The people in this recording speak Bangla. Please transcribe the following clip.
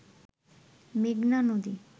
মেঘনা নদী